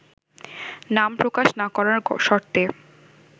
নাম প্রকাশ না করার শর্তে